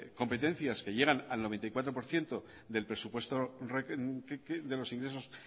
competencias que llegan a noventa y cuatro por ciento del presupuesto de los ingresos